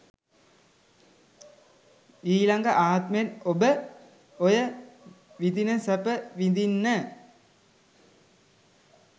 ඊලග ආත්මෙත් ඔබ ඔය විදින සැප විදින්න